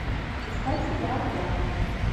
искать сериал дракула